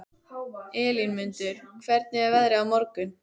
Elínmundur, hvernig er veðrið á morgun?